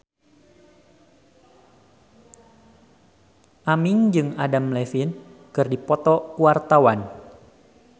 Aming jeung Adam Levine keur dipoto ku wartawan